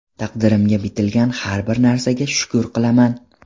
Taqdirimga bitilgan har bir narsaga shukr qilaman.